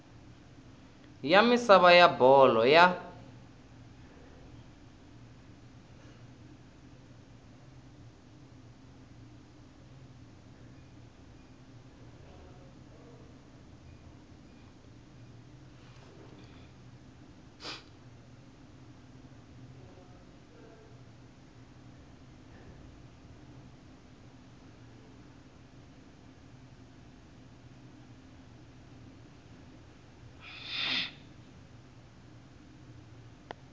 ya misava ya bolo ya